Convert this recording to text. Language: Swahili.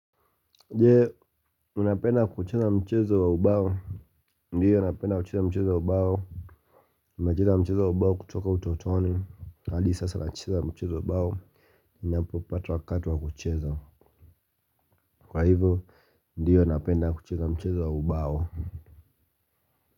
Je unapenda kucheza mchezo wa ubao. Ndiyo napenda kucheza mchezo wa ubao nimecheza mchezo wa ubao kutoka utotoni hadi sasa nacheza mchezo wa ubao. Ninapopata wakati wa kucheza kwa hivyo napenda kucheza mchezo wa ubao.